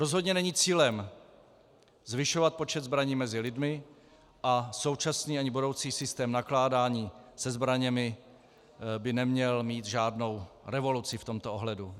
Rozhodně není cílem zvyšovat počet zbraní mezi lidmi a současně ani budoucí systém nakládání se zbraněmi by neměl mít žádnou revoluci v tomto ohledu.